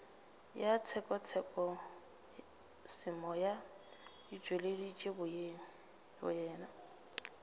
ya tshekatshekosemoya o tšweleditše boyena